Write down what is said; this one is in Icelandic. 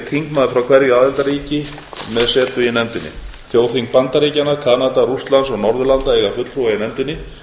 þingmaður frá hverju aðildarríki með setu í nefndinni þjóðþing bandaríkjanna kanada rússlands og norðurlanda eiga fulltrúa í nefndinni